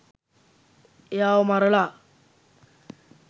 එයාව මරලා